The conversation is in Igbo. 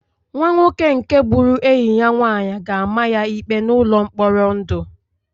Nwa nwoke nke gburu enyi ya nwanyị ga-ama ya ikpe n'ụlọ mkpọrọ ndụ